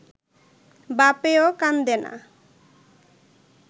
বাপেও কান্দে না